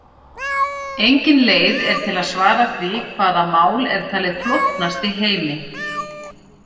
Engin leið er til að svara því hvaða mál er talið flóknast í heimi.